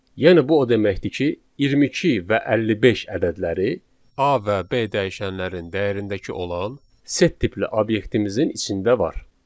Yəni bu o deməkdir ki, 22 və 55 ədədləri A və B dəyişənlərin dəyərindəki olan set tipli obyektimizin içində var.